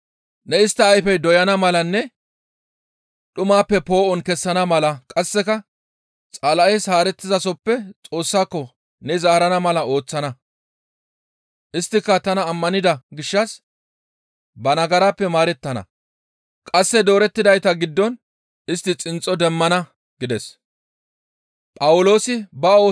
Ne istta ayfe doyana malanne dhumappe poo7on kessana mala qasseka Xala7es haarettizasoppe Xoossako ne zaarana mala ooththana; isttika tana ammanida gishshas ba nagarappe maarettana; qasse doorettidayta giddon istti xinxxo demmana› gides.